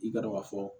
I ka dɔn ka fɔ